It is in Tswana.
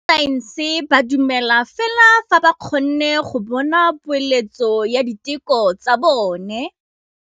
Borra saense ba dumela fela fa ba kgonne go bona poeletsô ya diteko tsa bone.